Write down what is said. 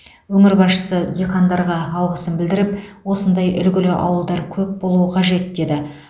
өңір басшысы диқандарға алғысын білдіріп осындай үлгілі ауылдар көп болуы қажет деді